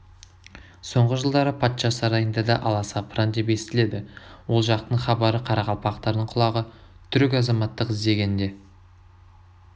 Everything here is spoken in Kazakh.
соңғы жылдары патша сарайында да аласапыран деп естіледі ол жақтың хабарына қарақалпақтардың құлағы түрік азаматтық іздегенде